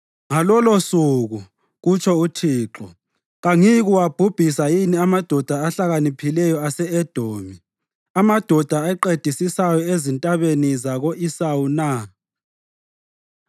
Ngalolosuku,” kutsho uThixo, “kangiyikuwabhubhisa yini amadoda ahlakaniphileyo ase-Edomi, amadoda aqedisisayo ezintabeni zako-Esawu na?